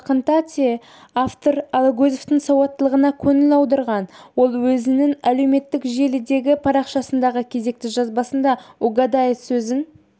жақында те автор алагөзовтің сауаттылығына көңіл аударған ол өзінің әлеуметтік желідегі парақшасындағы кезекті жазбасында угадает сөзін